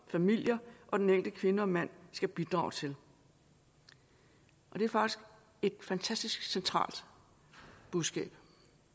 familier og den enkelte kvinde og mand skal bidrage til det er faktisk et fantastisk centralt budskab